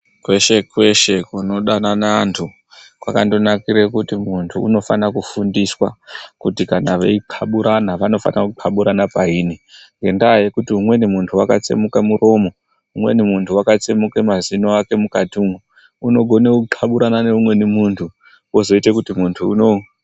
Kwesh- kweshe kunodanana antu kwakandonakire kuti muntu unofana kufundiswa kuti kana veixaburana vanofana kuxaburana payini. Ngendaa yekuti umweni muntu wakatsemuke muromo, umweni muntu wakatsemuke mazino ake mukatimwo, unogone kuxaburana neumweni muntu, wozoite kuti muntu unoo...